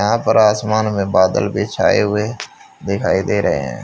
यहां पर आसमान में बादल भी छाए हुए दिखाई दे रहे हैं।